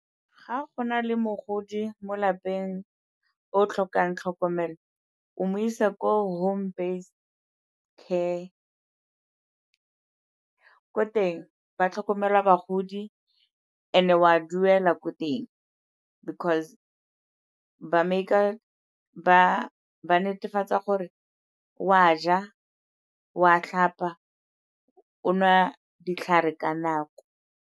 Ga go na le mogodi mo lapeng o o tlhokang tlhokomelo, omo isa ko home based care. Ko teng ba tlhokomela bagodi, and-e o a duela ko teng because ba netefatsa gore o a ja, o a tlhapa, o nwa ditlhare ka nako.